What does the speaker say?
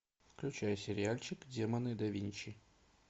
включай сериальчик демоны да винчи